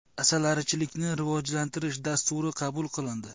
Asalarichilikni rivojlantirish dasturi qabul qilindi.